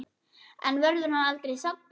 En verður hann aldrei saddur?